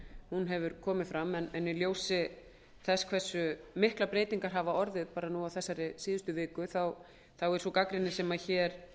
hún hefur komið fram en í ljósi þess hversu miklar breytingar hafa orðið í þessari síðustu viku er sú gagnrýni sem hér